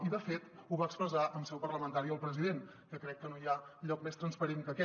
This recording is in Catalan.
i de fet ho va expressar en seu parlamentària el president que crec que no hi ha lloc més transparent que aquest